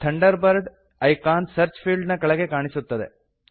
Thunderbird icon search field ನ ಕೆಳಗೆ ಕಾಣಿಸುತ್ತದೆ